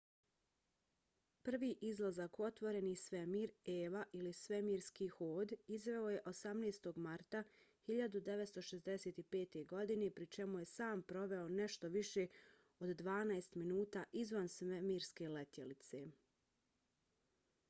prvi izlazak u otvoreni svemir eva ili svemirski hod izveo je 18. marta 1965. godine pri čemu je sam proveo nešto više od dvanaest minuta izvan svemirske letjelice